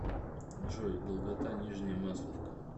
джой долгота нижняя масловка